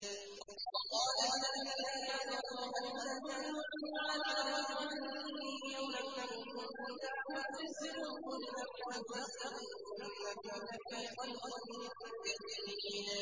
وَقَالَ الَّذِينَ كَفَرُوا هَلْ نَدُلُّكُمْ عَلَىٰ رَجُلٍ يُنَبِّئُكُمْ إِذَا مُزِّقْتُمْ كُلَّ مُمَزَّقٍ إِنَّكُمْ لَفِي خَلْقٍ جَدِيدٍ